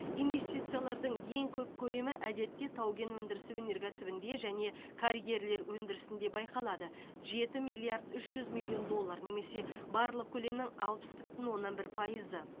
инвестициялардың ең көп көлемі әдетте тау кен өндірісі өнеркәсібінде және карьерлер өндірісінде байқалады жеті миллиард үш жүз миллион доллар немесе барлық көлемнің алпыс бүтін оннан бір пайызы